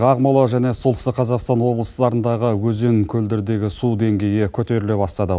ақмола және солтүстік қазақстан облыстарындағы өзен көлдердегі су деңгейі көтеріле бастады